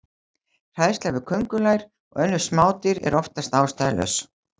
Hræðsla við köngulær og önnur smádýr er oftast ástæðulaus.